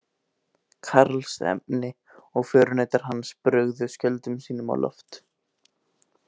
Karlsefni og förunautar hans brugðu skjöldum sínum á loft.